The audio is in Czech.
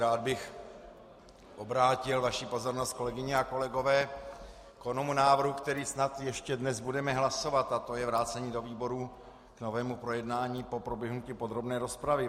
Rád bych obrátil vaši pozornost, kolegyně a kolegové, k onomu návrhu, který snad ještě dnes budeme hlasovat, a to je vrácení do výborů k novému projednání po proběhnutí podrobné rozpravy.